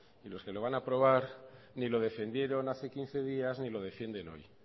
los que lo van a aprobar ni lo defendieron hace quince días ni lo defienden hoy